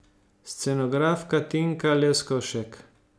Scenografka Tinka Leskovšek.